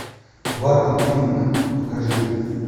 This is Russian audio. бартон финк покажи